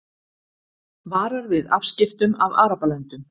Varar við afskiptum af Arabalöndum